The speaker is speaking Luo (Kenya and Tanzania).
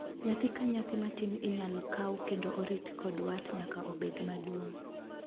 Nyathi ka nyathi matin inyal kaw kendo riti kod wat nyaka obed maduong'.